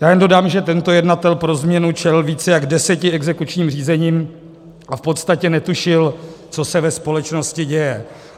Já jenom dodám, že tento jednatel pro změnu čelil více jak deseti exekučním řízením a v podstatě netušil, co se ve společnosti děje.